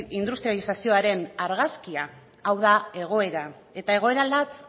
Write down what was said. industrializazioaren argazkia hau da egoera eta egoera latz